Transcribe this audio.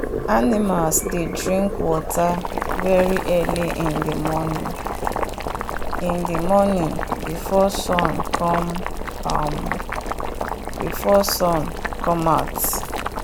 animals dey drink water very early in the morning in the morning before sun come um out.